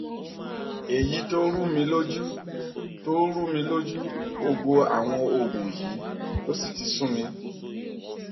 èyí tó rúmi lójú tó rúmi lójú gbogbo àwọn òògùn yìí ló sì ti sú mi